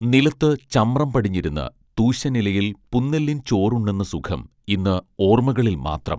നിലത്തു ചമ്രം പടിഞ്ഞിരുന്ന് തൂശനിലയിൽ പുന്നെല്ലിൻ ചോറ് ഉണ്ണുന്ന സുഖം ഇന്ന് ഓർമ്മകളിൽ മാത്രം